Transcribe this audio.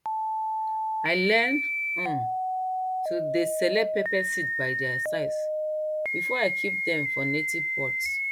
i learn um to dey select pepper seeds by their size before i keep dem for native pots